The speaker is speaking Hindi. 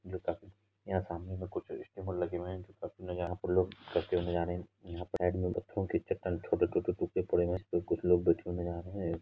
यहाँ सामने में कुछ स्टीमर लगे हुए हैं| यहाँ पे लोग तैरते नजर आ रहे हैं| यहाँ पर छोटे-छोटे टुकड़े पड़े हुए हैं कुछ लोग बैठे हुए नजर आ रहे हैं।